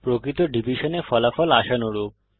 প্রকৃত ডিভিশনে ফলাফল আশানুরূপ